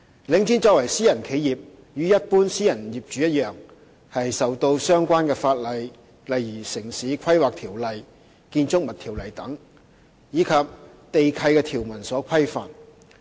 領展作為私人企業，與一般私人業主一樣，受到相關法例，例如《城市規劃條例》和《建築物條例》等，以及地契條文所規範。